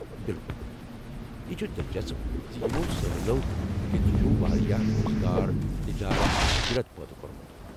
بِالکُل! یہ چُھ دلچسپ زِ یمو سٲحلو کتھہٕ چُھ واریاہ روزگار ، تجارت تہٕ ہجرت پٲدٕ کٔورمُت ۔